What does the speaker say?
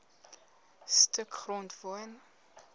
stuk grond woon